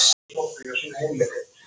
Aldrei neitt mál.